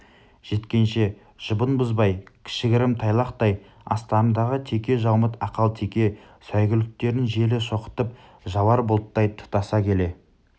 жеткенше жұбын бұзбай кіші-гірім тайлақтай астарындағы текежаумыт ақалтеке сәйгүліктерін желе шоқытып жауар бұлттай тұтаса келе